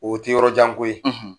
O tɛ yɔrɔ jan ko ye.